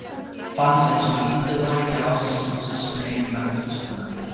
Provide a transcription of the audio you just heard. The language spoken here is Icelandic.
Fannst einsog litið væri á sig sem systur einnar tuskunnar.